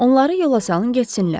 Onları yola salın getsinlər.